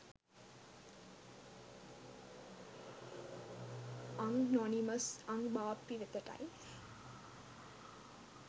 අං නොනිමස් අං බාප්පී වෙතටයි